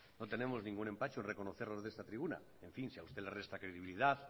no tenemos ningún empacho en reconocerlo desde esta tribuna en fin si a usted le resta credibilidad